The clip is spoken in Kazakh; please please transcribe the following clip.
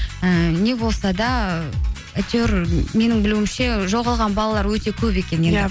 ііі не болса да әйтеуір менің білуімше жоғалған балалар өте көп екен